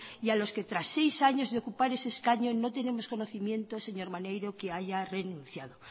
y a los que tras seis años de ocupar ese escaño no tenemos conocimiento señor maneiro que haya renunciado